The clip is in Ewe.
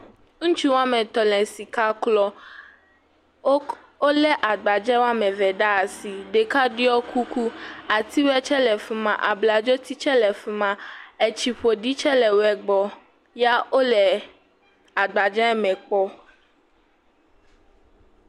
Ŋutsu woame etɔ le sika klɔm. Wo le agbadze woame eve ɖe asi ɖeka ɖɔe kuku. Atiwo tse le fi ma. Abladzo ti tse le fi maa. Etsi ƒoɖi tse le fi ma ya wo le agbadzeɛ me kpɔm